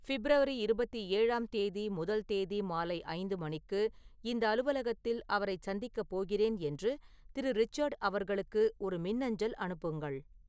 பிப்ரவரி இருவத்தி ஏழாம் தேதி முதல் தேதி மாலை ஐந்து மணிக்கு இந்த அலுவலகத்தில் அவரைச் சந்திக்கப் போகிறேன் என்று திரு.ரிச்சர்ட் அவர்களுக்கு ஒரு மின்னஞ்சல் அனுப்புங்கள்